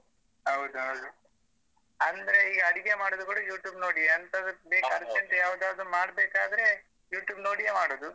ಹೌದೌದು ಅಂದ್ರೆ ಈಗ ಅಡಿಗೆ ಮಾಡುದು ಕೂಡ YouTube ನೋಡಿಯೇ ಎಂತದೋ ಬೇಕು urgent ಗೆ ಯಾವ್ದುದಾದ್ರೂ ಮಾಡ್ಬೇಕಾದ್ರೆ YouTube ನೋಡಿಯೇ ಮಾಡುದು.